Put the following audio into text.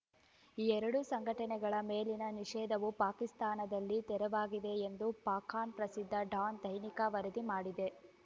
ಈ ಎರಡೂ ಸಂಘಟನೆಗಳ ಮೇಲಿನ ನಿಷೇಧವು ಪಾಕಿಸ್ತಾನದಲ್ಲಿ ತೆರವಾಗಿದೆ ಎಂದು ಪಾಕ್‌ನ ಪ್ರಸಿದ್ಧ ಡಾನ್‌ ದೈನಿಕ ವರದಿ ಮಾಡಿದೆ